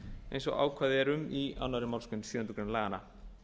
eins og ákvæði er um í annarri málsgrein sjöundu grein laganna